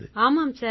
ஆமாம் சார்